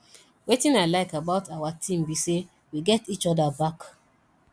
wetin i like about our team be say we get each other back